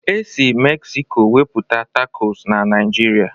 E sị Mexiko webata tacọs na Naijiria